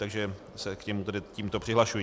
Takže se k němu tedy tímto přihlašuji.